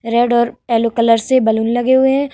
Red और yellow colour से balloon लगे हुए है ।